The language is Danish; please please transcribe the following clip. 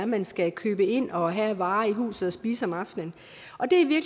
man skal købe ind og have af varer i huset og spise om aftenen og det